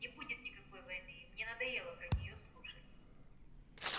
не будет никакой войны и мне надоело про неё слушать